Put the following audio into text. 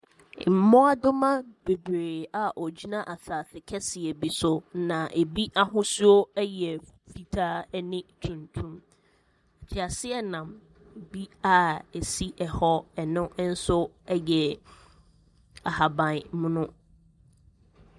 Mmoadoma bebree a wɔgyina asasekɛseɛ bi so. Na ɛbi ahosuo yɛ fu fitaane tuntum. Teaseanam bi a ɛsi hɔ no nso yɛ ahabammono.